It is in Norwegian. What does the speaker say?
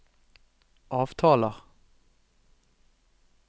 avtaler